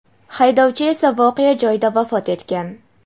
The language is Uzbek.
haydovchi esa voqea joyida vafot etgan.